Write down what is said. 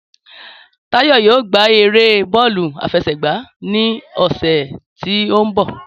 Táyọ̀ yóò gbá eré bọ́ọ̀lù àfẹsẹ̀gba ní ọ̀sẹ̀ tí ó ń bọ̀